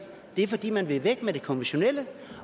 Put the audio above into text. det er fordi man vil af med det konventionelle